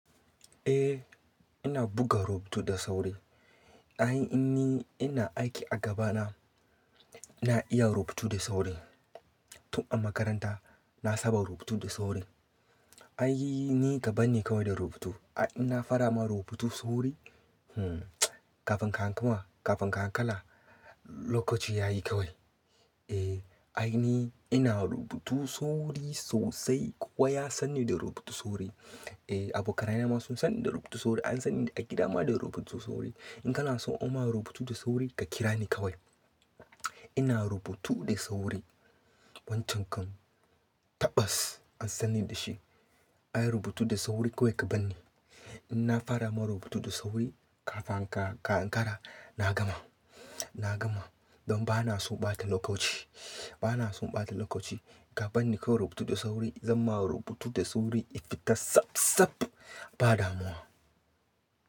Eh ina buga rubutu da sauri. Ai in ni ina aiki a gaba na, ina iya rubutu da sauri. Tun a makaranta na saba rubutu da sauri. Ai ni ka banni kawai da rubutu. In na fara ma rubutu sauri, hmm, kafin ka hankama kafin ka hankala lokaci ya yi kawai. Eh ai ni ina rubutu sauri sosai. Kowa ya san ni da rubutu sauri. Eh abokanai na ma sun san ni da rubutu sauri. An san ni a gida ma da rubutu sauri. In kana son in ma rubutu da sauri ka kira ni kawai. Ina rubutu da sauri wancan kam tabbas an san ni da shi. Ai rubutu da sauri kawai ka banni. In na fara ma rubutu da sauri kafin ka hankara na gama, na gama. Don ba na son ɓata lokaci, ba na son ɓata lokaci. Ka banni kawai rubutu da sauri zan ma rubutu da sauri ya fita tsab tsab ba damuwa.